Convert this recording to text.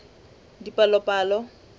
dipalopalo